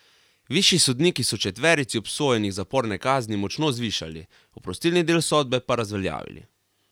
Višji sodniki so četverici obsojenih zaporne kazni močno zvišali, oprostilni del sodbe pa razveljavili.